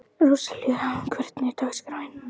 Róselía, hvernig er dagskráin?